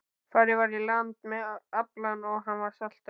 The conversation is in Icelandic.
Farið var í land með aflann og hann saltaður.